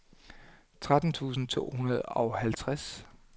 tretten tusind to hundrede og halvtreds